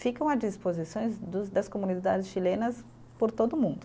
Ficam à disposições dos das comunidades chilenas por todo o mundo.